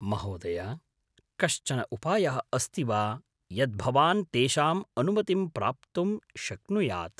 महोदय! कश्चन उपायः अस्ति वा यत् भवान् तेषां अनुमतिं प्राप्तुं शक्नुयात्?